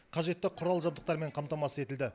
қажетті құрал жабдықтармен қамтамасыз етілді